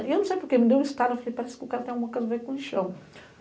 E eu não sei porquê, me deu um estado, eu falei, parece que o cara tem alguma coisa a ver com o lixão.